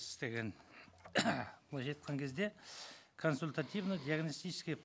істеген былайша айтқан кезде консультативно диагностическая